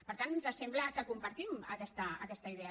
per tant ens sembla que compartim aquesta idea